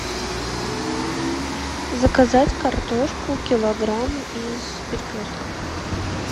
заказать картошку килограмм из перекрестка